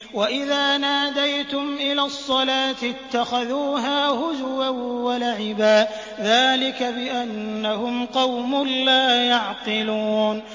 وَإِذَا نَادَيْتُمْ إِلَى الصَّلَاةِ اتَّخَذُوهَا هُزُوًا وَلَعِبًا ۚ ذَٰلِكَ بِأَنَّهُمْ قَوْمٌ لَّا يَعْقِلُونَ